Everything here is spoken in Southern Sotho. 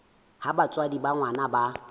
ha batswadi ba ngwana ba